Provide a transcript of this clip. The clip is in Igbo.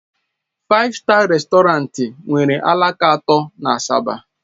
Faif Staa Rèstọrantị nwere alaka atọ na Asaba.